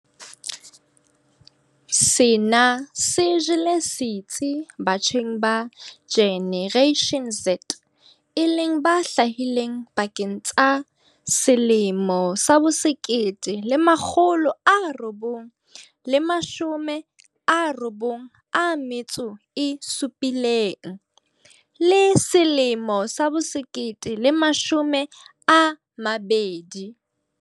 Sena se jele setsi batjheng ba Generation Z e leng ba hlahileng pakeng tsa 1997 le 2005.